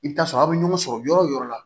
I bɛ t'a sɔrɔ aw bɛ ɲɔgɔn sɔrɔ yɔrɔ o yɔrɔ la